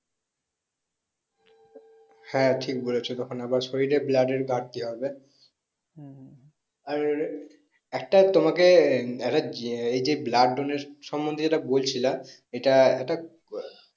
হ্যাঁ ঠিক বলেছো তখন আবার শরীরে blood এর ঘরটি হবে আর একটা তোমাকে একটা জি এই যে blood donate সম্মন্ধে বলছিলা এটা এটা